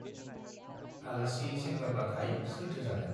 आलासि सेंग्राब्लालाय सोरथो जानो।